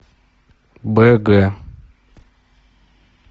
бг